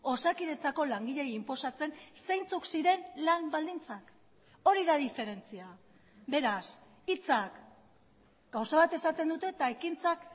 osakidetzako langileei inposatzen zeintzuk ziren lan baldintzak hori da diferentzia beraz hitzak gauza bat esaten dute eta ekintzak